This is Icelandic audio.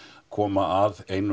koma að einum